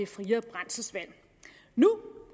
friere brændselsvalg